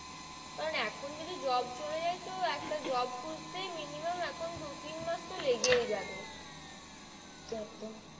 কারণ এখন যদি job চলে যাই তো একটা job খুঁজতেই minimum দু তিন মাস তো লেগেই যাবে একদম।